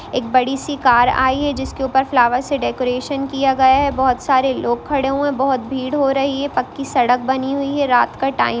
एक बड़ी सी कार आई है जिसके ऊपर फ्लावर से डेकोरेशन किया गया है बोहोत सारे लोग खड़े हुए है बोहोत भीड़ हो रही है पक्की सड़क बनी हुई है रात का टाइम --